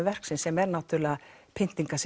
verksins sem er náttúrulega